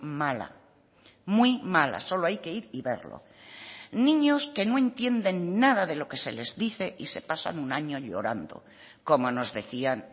mala muy mala solo hay que ir y verlo niños que no entienden nada de lo que se les dice y se pasan un año llorando como nos decían